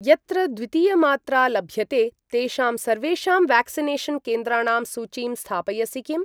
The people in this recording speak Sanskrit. यत्र द्वितीयमात्रा लभ्यते तेषां सर्वेषां व्याक्सिनेषन् केन्द्राणां सूचीं स्थापयसि किम्?